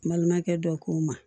N balimakɛ dɔ k'o ma